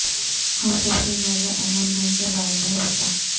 ہم سب سے زیادہ اہم ہیں کے بارے میں بتا